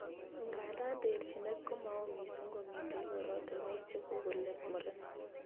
Nganda terjinet ko maoo missing komitei korotinwek che kikolet murenik